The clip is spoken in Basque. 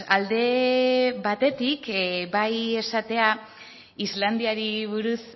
alde batetik bai esatea islandiari buruz